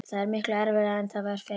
Það er miklu erfiðara en það fyrra.